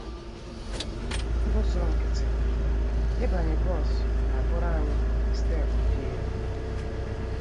““ N’ụzọ nkịtị, ịbanye bọs na - abụrụ anyị steepụ dị elu.